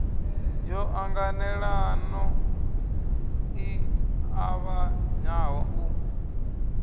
yo ṱanganelano i ṱavhanyaho u